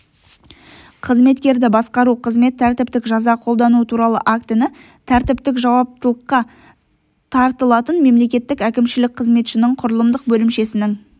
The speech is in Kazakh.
қызметкерді басқару қызмет тәртіптік жаза қолдану туралы актіні тәртіптік жауаптылыққа тартылатын мемлекеттік әкімшілік қызметшінің құрылымдық бөлімшесінің